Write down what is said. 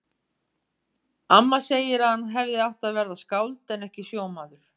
Amma segir að hann hefði átt að verða skáld en ekki sjómaður.